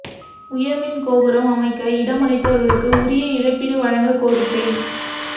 உயா் மின் கோபுரம் அமைக்க இடமளித்தவா்களுக்கு உரிய இழப்பீடு வழங்கக் கோரிக்கை